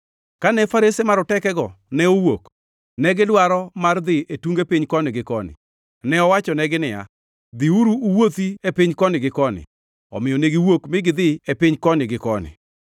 Kane farese marotekego ne owuok, negidwaro mar dhi e tunge piny koni gi koni. Ne owachonegi niya, “Dhiuru uwuothi e piny koni gi koni!” Omiyo ne giwuok mi gidhi e piny koni gi koni.